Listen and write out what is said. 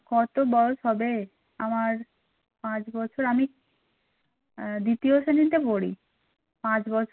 কত বয়স হবে? আমার পাঁচ বছর আমি দ্বিতীয় শ্রেণীতে পড়ি পাঁচ বছর